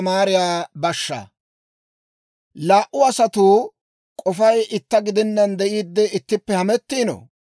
Laa"u asatuu k'ofay itta gidenaan de'iidde ittippe hamettiino?